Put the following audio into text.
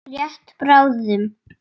Rétt bráðum.